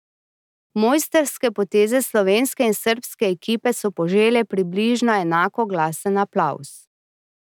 Mojstrske poteze slovenske in srbske ekipe so požele približno enako glasen aplavz.